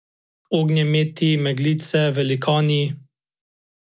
Ognjemeti, meglice, velikani ...